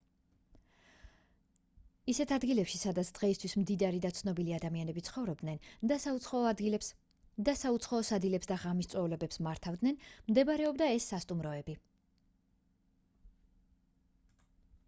ისეთ ადგილებში სადაც დღეისთვის მდიდარი და ცნობილი ადამიანები ცხოვრობდნენ და საუცხოო სადილებს და ღამის წვეულებებს მართავდნენ მდებარეობდა ეს სასტუმროები